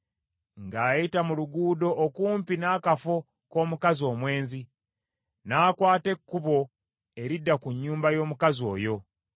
ng’ayita mu luguudo okumpi n’akafo k’omukazi omwenzi, n’akwata ekkubo eridda ku nnyumba y’omukazi oyo,